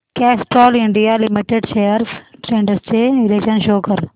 Castrol India limited shares trends चे विश्लेषण show कर